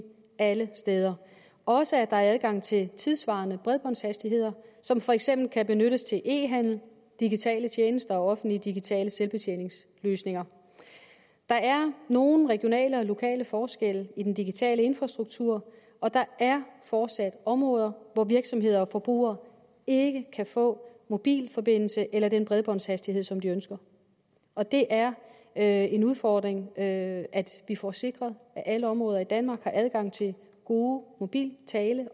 alle steder også at der er adgang til tidssvarende bredbåndshastigheder som for eksempel kan benyttes til e handel digitale tjenester og offentlige digitale selvbetjeningsløsninger der er nogle regionale og lokale forskelle i den digitale infrastruktur og der er fortsat områder hvor virksomheder og forbrugere ikke kan få mobilforbindelse eller den bredbåndshastighed som de ønsker og det er er en udfordring at vi får sikret at alle områder i danmark har adgang til god mobil